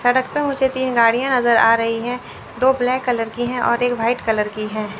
सड़क पे मुझे तीन गाड़ियां नजर आ रही है दो ब्लैक कलर है और एक व्हाइट कलर की है।